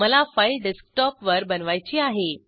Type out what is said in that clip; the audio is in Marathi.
मला फाईल डेस्कटॉप वर बनवायची आहे